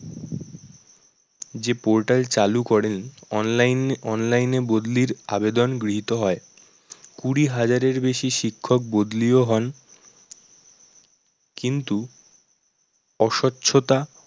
যে portal চালু করেন ~online online এ বদলির আবেদন গৃহীত হয়। কুড়ি হাজারের বেশি শিক্ষক বদলিও হন কিন্তু অসচ্ছ্বতা